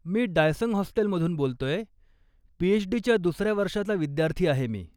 मी डायसंग हॉस्टेलमधून बोलतोय, पी.एचडी.च्या दुसऱ्या वर्षाचा विद्यार्थी आहे मी.